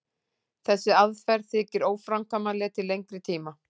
Þessi aðferð þykir óframkvæmanleg til lengri tíma.